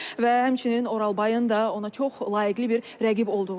Və həmçinin Oralbayın da ona çox layiqli bir rəqib olduğunu deyib.